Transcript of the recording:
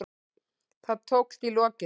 Það tókst í lokin.